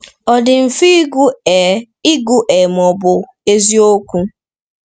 Ọ dị mfe ịgụ, ee, mfe ịgụ, ee, mana ọ̀ bụ eziokwu?